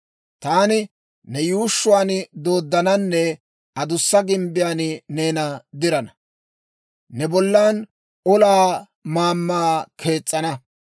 Taani ne yuushshuwaan dooddananne adussa gimbbiyaan neena dirana; ne bollan olaa maammaa kees's'ana.